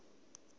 o ita uri hu vhe